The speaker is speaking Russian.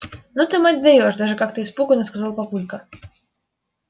ну ты мать даёшь даже как-то испуганно сказал папулька